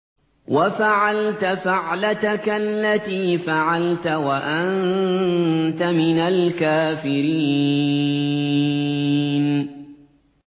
وَفَعَلْتَ فَعْلَتَكَ الَّتِي فَعَلْتَ وَأَنتَ مِنَ الْكَافِرِينَ